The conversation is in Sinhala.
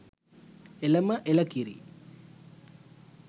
එළම එළ කිරි!